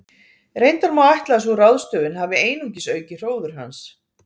Reyndar má ætla að sú ráðstöfun hafi einungis aukið hróður hans.